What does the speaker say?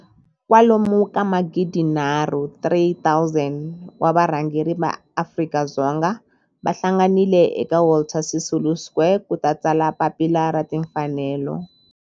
Kwalomu ka magidi nharhu, 3 000, wa varhangeri va maAfrika-Dzonga va hlanganile eka Walter Sisulu Square ku ta tsala Papila ra Timfanelo.